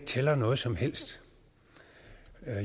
tæller noget som helst